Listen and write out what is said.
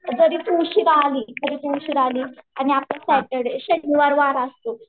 एखादी तुळशीबाग आली कधी तू उशिरा आली आणि आपण सॅटर्डे शनिवारवाडा असतो.